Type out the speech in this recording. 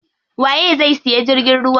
Waye zai siya jirgin ruwa?